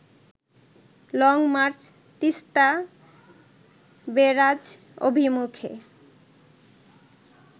long march Teesta barrage অভিমুখে